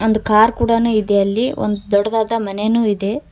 ಒಂದು ಕಾರ್ ಕೂಡಾನು ಇದೆ ಅಲ್ಲಿ ಒಂದ್ ದೊಡ್ಡ್ದಾದ ಮನೆನು ಇದೆ.